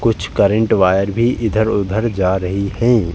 कुछ current wire भी इधर- उधर जा रही हैं।